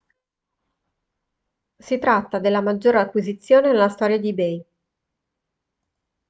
si tratta della maggiore acquisizione nella storia di ebay